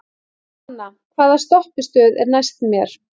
Svana, hvaða stoppistöð er næst mér?